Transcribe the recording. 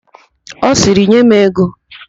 Ọ sịrị, "nye m ego"!